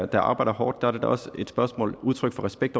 der arbejder hårdt er det da også et udtryk for respekt